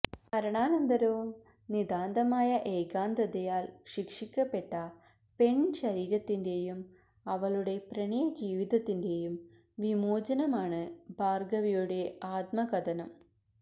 മരണാനന്തരവും നിതാന്തമായ ഏകാന്തതയാല് ശിക്ഷിക്കപ്പെട്ട പെണ് ശരീരത്തിന്റെയും അവളുടെ പ്രണയ ജീവിതത്തിന്റെയും വിമോചനമാണ് ഭാര്ഗവിയുടെ ആത്മകഥനം